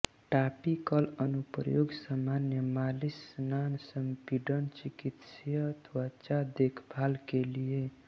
topical अनुप्रयोग सामान्य मालिश स्नान संपीड़न चिकित्सीय त्वचा देखभाल के लिए